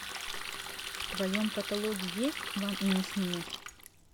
в твоем каталоге есть вам и не снилось